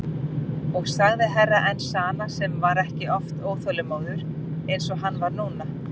Og sagði Herra Enzana sem var ekki oft óþolinmóður eins og hann var núna.